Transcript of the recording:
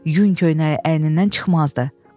Yun köynəyi əynindən çıxmazdı.